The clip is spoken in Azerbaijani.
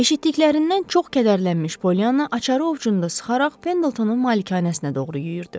Eşitdiklərindən çox kədərlənmiş Polyana açarı ovcunda sıxaraq Pendletonun malikanəsinə doğru yüyürdü.